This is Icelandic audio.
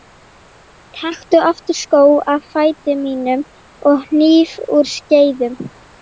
Taktu aftur skó af fæti mínum og hníf úr skeiðum.